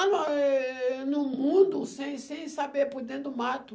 êh... no mundo, sem sem saber, por dentro do mato.